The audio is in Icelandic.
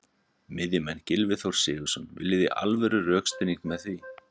Miðjumenn: Gylfi Þór Sigurðsson- Viljiði í alvöru rökstuðning með því?